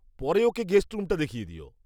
পরে ওকে গেস্ট রুমটা দেখিয়ে দিও।